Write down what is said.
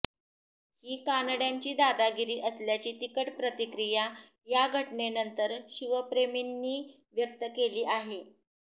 ही कानड्यांची दादागिरी असल्याची तिखट प्रतिक्रिया या घटनेनंतर शिवप्रेमींनी व्यक्त केली आहे